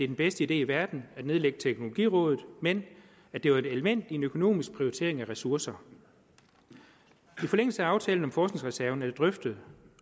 den bedste idé i verden at nedlægge teknologirådet men at det var et element i en økonomisk prioritering af ressourcer i forlængelse af aftalen om forskningsreserven er det drøftet